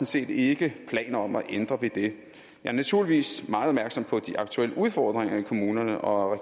set ikke planer om at ændre ved det jeg er naturligvis meget opmærksom på de aktuelle udfordringer i kommunerne og